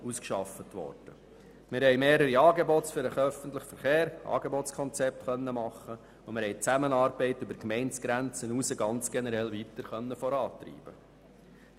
Wir haben mehrere Angebotskonzepte für den öffentlichen Verkehr machen und die Zusammenarbeit über die Gemeindegrenze hinaus ganz generell weiter vorantreiben können.